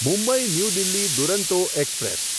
Mumbai New Delhi Duronto express